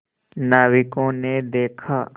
नाविकों ने देखा